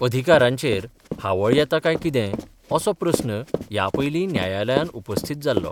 अधिकारांचेर हावळ येता कांय कितें असो प्रस्न ह्या पयली न्यायालयान उपस्थीत जाल्लो.